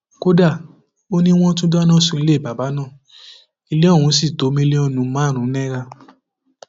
kódà ó ní wọn tún dáná sun ilé bàbà náà ilé ọhún sì tó mílíọnù márùnún náírà